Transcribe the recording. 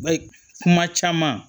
Ba kuma caman